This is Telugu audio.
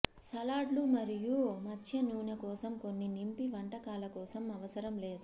సలాడ్లు మరియు మత్స్య నూనె కోసం కొన్ని నింపి వంటకాల కోసం అవసరం లేదు